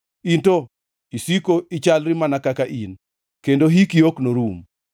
In to isiko ichalri mana kaka in, kendo hiki ok norum.